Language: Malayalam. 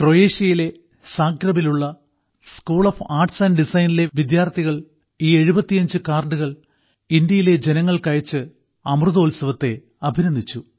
ക്രൊയേഷ്യയിലെ സാഗ്രെബിലുള്ള school of applied arts and ഡിസൈനിലെ വിദ്യാർത്ഥികൾ ഈ 75 കാർഡുകൾ ഇന്ത്യയിലെ ജനങ്ങൾക്ക് അയച്ച് അമൃതോത്സവത്തെ അഭിനന്ദിച്ചു